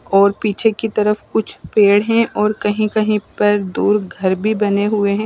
और पीछे की तरफ कुछ पेड़ है और कही कही पर दूर घर भी बने हुए है।